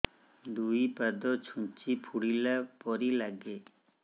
ଦୁଇ ପାଦ ଛୁଞ୍ଚି ଫୁଡିଲା ପରି ଲାଗେ